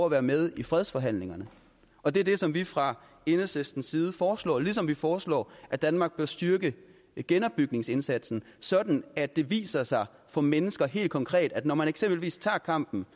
at være med i fredsforhandlingerne og det er det som vi fra enhedslistens side foreslår ligesom vi foreslår at danmark bør styrke genopbygningsindsatsen sådan at det viser sig for mennesker helt konkret at når man eksempelvis tager kampen